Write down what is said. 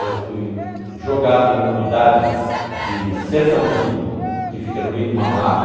Eu fui jogado em uma unidade de sertãozinho que fica no meio de uma mata.